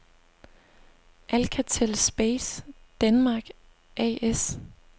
Alcatel Space Denmark A/S